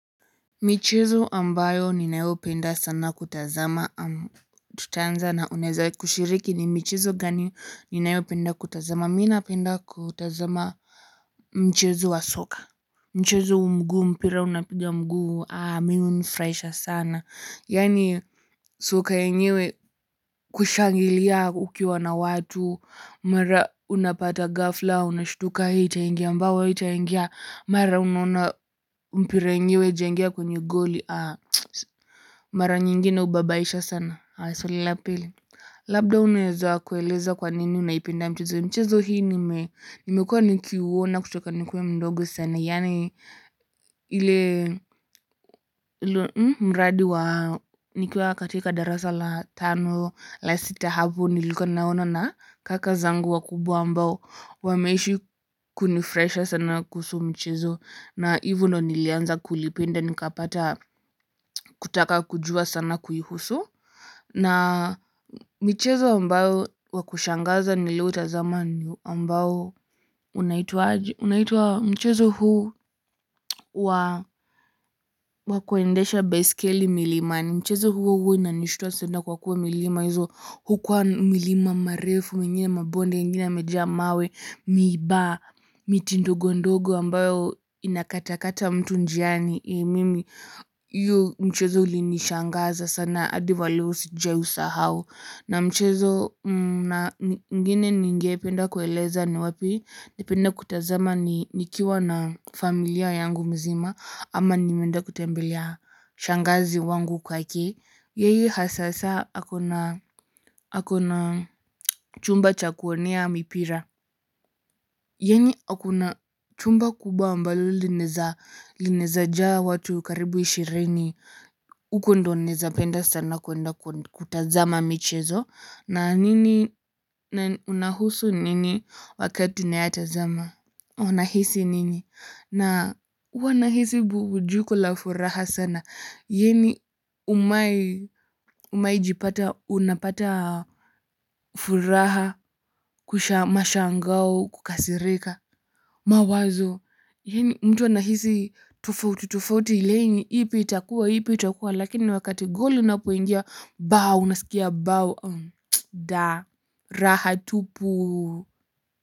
Michezo ambayo ninapenda sana kutazama, tutaanza na unaweza kushiriki ni michezo gani ninayopenda kutazama? Mimi napenda kutazama michezo ya soka, mpira wa miguu. Unanifurahisha sana. Soka yenyewe, kushangilia ukiwa na watu, mara unapata ghafla unashtuka. Hii itaingia, bao haitaingia, mara onaona mpira yenyewe haijaingia kwenye goli. Mara nyingi inababaisha sana. Labda unaweza kueleza kwa nini unaipenda mchezo. Mchezo hii nimekuwa nikiutazama tangu nilipokuwa mdogo sana. Yaani, tangu nilipokuwa katika darasa la tano au la sita hivi. Nilikuwa naona na kaka zangu wakubwa, ambao wameishi kunifurahisha sana kuhusu mchezo. Na hivo ndo nilianza kulipenda nikapata kutaka kujua sana kuhusu. Na michezo ambao wa kushangaza niliotazama ni ambao unaitwa mchezo huu wa wa kuendesha baiskeli milimani ni mchezo huo huo unaonishtua sana kwa kuwa milima hiyo huwa milima mirefu, mingine mabonde, mengine mawe mengi na miiba. Miti ndogo ndogo ambayo inakatakata mtu njiani. Mimi, hiyo mchezo ulinishangaza sana, hadi wa leo sijawahi kusahau. Na mchezo mwingine ningependa kueleza ni wapi napenda kutazama nikiwa na familia yangu mzima ama nikienda kutembelea. Shangazi wangu kwake yeye sasa ako na chumba cha kuonea mipira yaani ako na chumba kubwa ambalo linaweza jaa watu karibu ishirini uko ndo naweza penda sana kwenda kutazama michezo. Na unahusu nini wakati nayatazama unahisi nini na wanahisi na wanahisi burudiko la furaha sana. Yaani, umewahi kujipata unapata furaha, mshangao na kukasirika? Mawazo, yaani mtu anahisi tofauti tofauti, akijiuliza ipi itakuwa, ipi itakuwa. Lakini wakati goli linapoingia, unasikia, "Ba, da, raha tupu!"